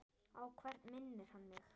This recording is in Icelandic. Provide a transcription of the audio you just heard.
Á hvern minnir hann mig?